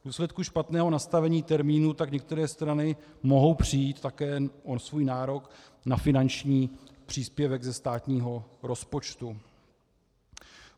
V důsledku špatného nastavení termínu tak některé strany mohou přijít také o svůj nárok na finanční příspěvek ze státního rozpočtu.